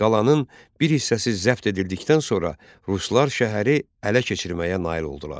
Qalanın bir hissəsi zəbt edildikdən sonra ruslar şəhəri ələ keçirməyə nail oldular.